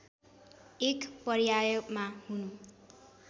एक पर्यायमा हुनु